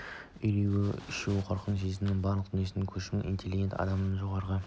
үрейі ұшу қорқу сезімі барлық тіршілік иелеріне тән әрі оны жан дүниесінің күшімен интеллектпен адамның жоғарғы